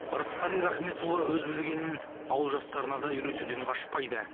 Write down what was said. ырысқали рахметұлы өз білгенін ауыл жастарына да үйретуден қашпайды